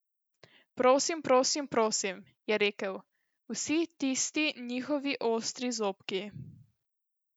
Prosim prosim prosim, je rekel, vsi tisti njihovi ostri zobki.